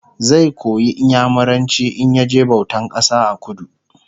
zai koyi inyamuranci in ya je bautan kasa a kudu